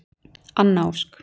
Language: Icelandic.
Anna Ósk.